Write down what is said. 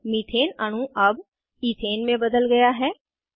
methane अणु अब ethane में बदल गया है